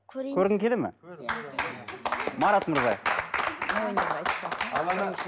көрейін көргің келе ме иә марат мырза